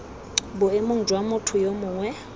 boemong jwa motho yo mongwe